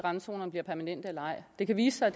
randzonerne bliver permanente eller ej det kan vise sig